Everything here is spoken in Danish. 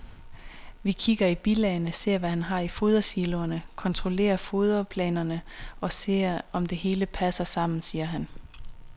Vi kigger i bilagene, ser hvad har han i fodersiloerne, kontrollerer foderplanerne og ser, om det hele passer sammen, siger han.